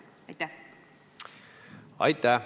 Aitäh!